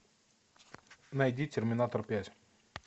найди терминатор пять